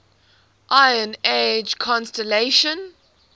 iron age colonisation